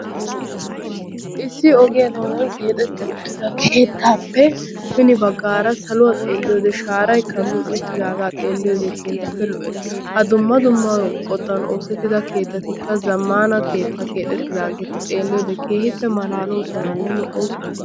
Issi ogiya doonan keexetti uttida keettaappe hini baggaara saluwa xelliyode shaaray kammi uttidaagaa xeelliyode keehippe lo''ees. Ha dumma dumma qottan oosettida keettatikka zammana keettaa kexettidaageeta xeelliyode keehippe malaaloosonanne lo''oosona.